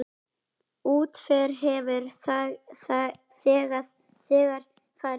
Útför hefur þegar farið fram.